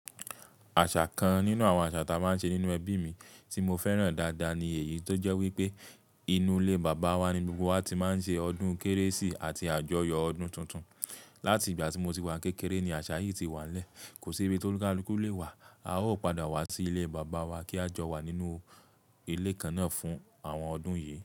Àṣà kan nínú àwọn àṣà táa máa ń ṣe nínú ẹbí mi tí mo fẹ́ràn dáadáa ni èyí tó jẹ́ wípé inú ilé Bàbá wá ni gbogbo wá ti máa ń ṣe ọdún Kérésì ati àjọyọ̀ ọdún tuntun. Láti ìgbà tí mo ti wá n kékeré ni àṣà yìí ti wà nílẹ̀. Kò sí ibi ti ólúkalùkù lé wá, a ó padà wá sí ilé Bàbá wá kí a jọ wà nínú ilé kan náà fún àwọn ọdún yìí.